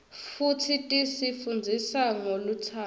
futsi tisi fundzisa ngolutsandvo